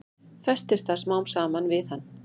Festist það smám saman við hann.